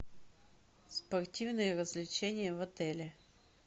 спортивные развлечения в отеле